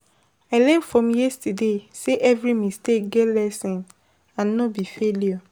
I learn from yesterday say every mistake get lesson, and no be failure.